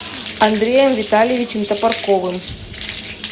андреем витальевичем топорковым